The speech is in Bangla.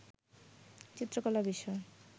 চিত্রকলা বিষয়